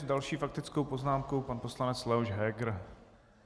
S další faktickou poznámkou pan poslanec Leoš Heger.